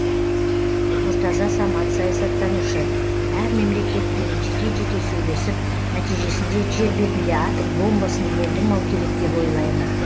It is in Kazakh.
нұртаза самат саясаттанушы әр мемлекетпен жеке жеке сөйлесіп нәтижесінде жер бетінде атом бомбасын болдырмау керек деп ойлаймын